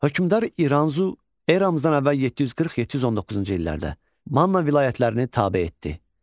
Hökümdar İranzu eramızdan əvvəl 740-719-cu illərdə Manna vilayətlərini tabe etdi.